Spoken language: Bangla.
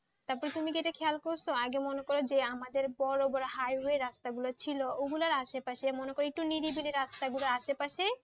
তারপর তুমি কি এটা খেয়াল করছো আগে মনে করো যে আমাদের বড় বড় হাইওয়ে রাস্তাগুলো ছিল, এগুলোর আশেপাশে একটু মনে করো একটু নিরিবিলি রাস্তার আশেপাশে,